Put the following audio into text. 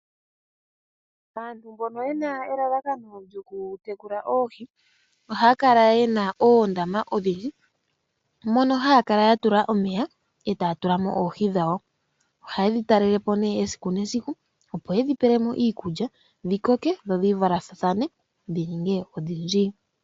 aantu mbono yena elalakano lyokutekula oohi ohaya kala yena oondama odhindji mono haya kala ya tula omeya e taya tulamo oohi dhawo. ohaye dhi talelepo nee esiku nesiku opo yedhipelemo iikulya dhikoke dho dhi valathane dhi ninge odhindji